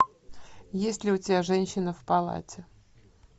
есть ли у тебя женщина в палате